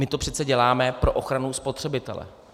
My to přece děláme pro ochranu spotřebitele.